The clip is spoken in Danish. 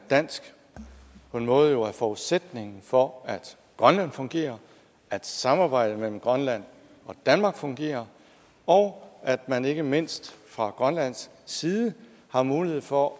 dansk på en måde jo er forudsætningen for at grønland fungerer at samarbejdet mellem grønland og danmark fungerer og at man ikke mindst fra grønlands side har mulighed for